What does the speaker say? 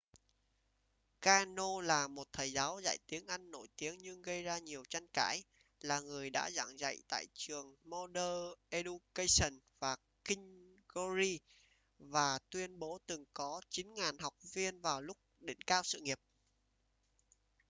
karno là một thầy giáo dạy tiếng anh nổi tiếng nhưng gây ra nhiều tranh cãi là người đã giảng dạy tại trường modern education và king's glory và tuyên bố từng có 9.000 học viên vào lúc đỉnh cao sự nghiệp